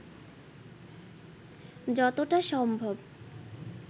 যতটা সম্ভব